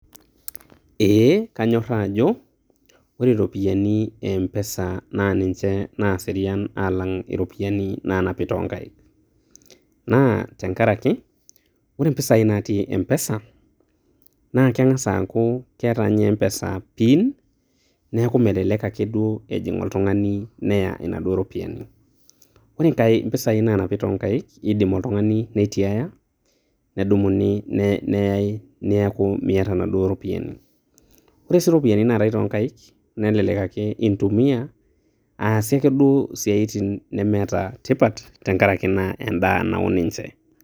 Eee kanyoraa ajo ore iropiani e mpesa naa ninje naserian alang' iropiani naanapi toonkaik. Naa tenkaraki ore impisai natii e mpesa, naa kengasa aaku keeta nye e mpesa pin neeku melelek akeduo ejing' oltung'ani neya naduo ropiani. Ore impisai naanapi too nkaik kidim oltung' ani neitiaya nedumuni neyai neeku miata inaduo ropiani. Ore sii iropiani naatai too nkaik nelelek ake intumia aasie akeduo isiaitin nemeeta tipat tenkaraki naa.